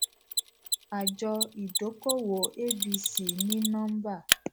àjọ ìdókòwò abc ní nọmbà